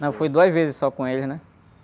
Não, fui duas vezes só com eles, né?